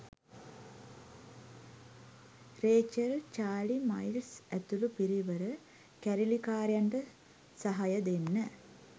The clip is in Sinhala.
රේචල් චාලි මයිල්ස් ඇතුළු පිරිවර කැරලිකාරයන්ට සහය දෙන්න